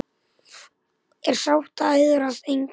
er sátt og iðrast einskis